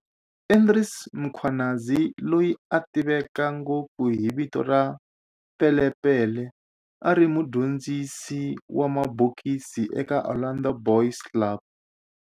Andries Mkhwanazi, loyi a tiveka ngopfu hi vito ra Pele Pele, a ri mudyondzisi wa mabokisi eka Orlando Boys Club.